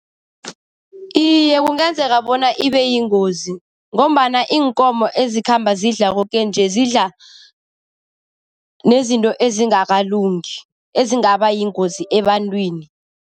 Iye, kungenzeka bona ibeyingozi ngombana iinkomo ezikhamba zidlala koke nje, zidla nezinto ezingakalungi ezingaba yingozi ebantwini.